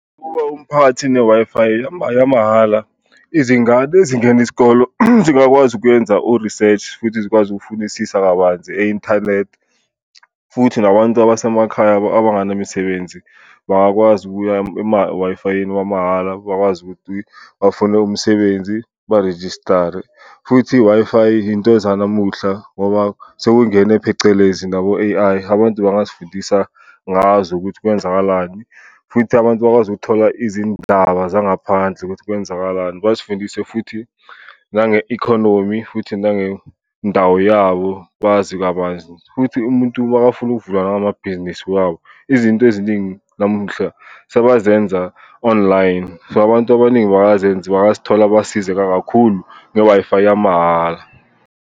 Umphakathini ne-Wi-Fi yamahhala izingane ezingena isikolo zingakwazi ukuyenza o-research ukuthi zikwazi ukufunisisa kabanzi e-inthanethi, futhi nabantu abasemakhaya abangana misebenzi bangakwazi ukuya emawayifayeni wamahhala bakwazi ukuthi bafune umsebenzi, ba-register-re. Futhi i-Wi-Fi into zanamuhla ngoba sekungene phecelezi nabo A_I abantu bangazifundisa ngazo ukuthi kwenzakalani, futhi abantu bakwazi ukuthola izindaba zangaphandle ukuthi kwenzakalani, bazifundise futhi nange-economy futhi nangendawo yabo bazi kabanzi. Futhi umuntu makafuna ukuvula nangamabhizinisi wabo izinto eziningi namuhla sebazenza online, so abantu abaningi bayazi bangazithola basizeka kakhulu nge-Wi-Fi yamahhala.